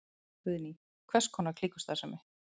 Guðný: Hvers konar klíkustarfsemi?